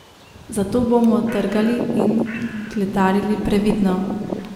Zato bomo trgali in kletarili previdno.